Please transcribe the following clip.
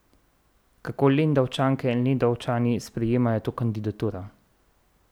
Kako Lendavčanke in Lendavčani sprejemajo to kandidaturo?